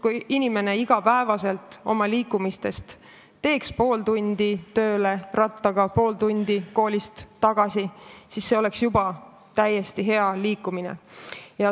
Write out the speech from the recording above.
Kui inimene liiguks iga päev rattaga pool tundi tööle või pool tundi koolist tagasi, siis see oleks juba täiesti hea tulemus.